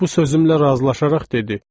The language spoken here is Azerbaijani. Bu sözümlə razılaşaraq dedi: